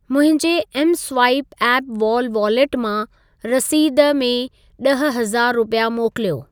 मुंहिंजे mswipe app wall wallet मां रसीद में ॾह हज़ार रुपिया मोकिलियो।